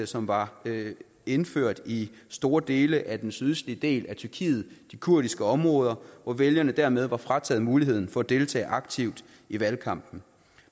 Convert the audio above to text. som var indført i store dele af den sydøstlige del af tyrkiet de kurdiske områder hvor vælgerne dermed var frataget muligheden for at deltage aktivt i valgkampen